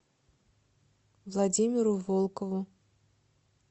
владимиру волкову